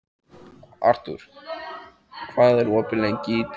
Arthur, hvað er opið lengi í Tríó?